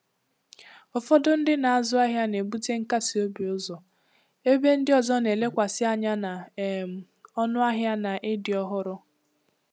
Ụfọdụ ndị na-azụ ahịa na-ebute nkasi obi ụzọ, ebe ndị ọzọ na-elekwasị anya na um ọnụahịa na ịdị ọhụrụ.